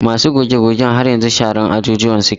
Masu goge-gogen har yanzu sharar ajujuwan suke.